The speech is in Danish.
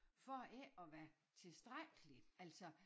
For ikke at være tilstrækkelig altså